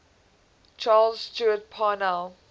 charles stewart parnell